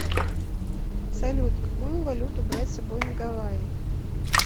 салют какую валюту брать с собой на гавайи